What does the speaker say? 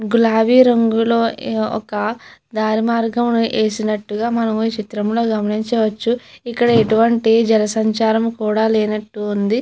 గులాబీ రంగులోనే ఒక దారి మార్గము చేసినట్టుగా మనమే చిత్రంలో గమనించవచ్చు. ఇక్కడ ఎటువంటి జన సంచారము లేనట్టు ఉంది.